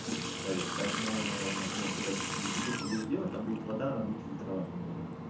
в траве поэтому например когда ты через бутылку будешь делать там будет вода она будет фильтровать немного